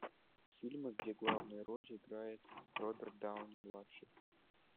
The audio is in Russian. фильмы где главную роль играет роберт дауни младший